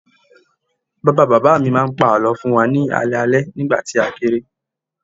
Bàbá bàbá mi máa ń pa àlọ́ fún wa ní alẹ́ alẹ́ nígbà tí a kéré